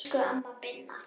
Elsku amma Binna.